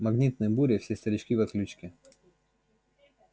магнитные бури все старички в отключке